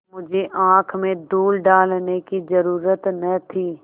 मुझे आँख में धूल डालने की जरुरत न थी